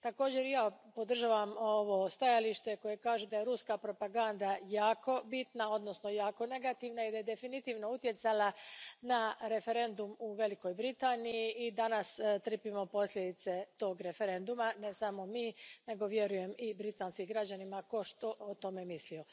Također i ja podržavam ovo stajalište koje kaže da je ruska propaganda jako bitna, odnosno jako negativna i da je definitivno utjecala na referendum u Velikoj Britaniji. I danas trpimo posljedice tog referenduma, ne samo mi nego, vjerujem, i britanski građani, štogod o tome mislili.